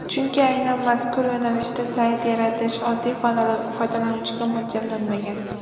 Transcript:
Chunki aynan mazkur yo‘nalishda sayt yaratish oddiy foydalanuvchiga mo‘ljallanmagan.